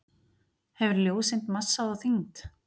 Hefur ljóseind massa og þyngd?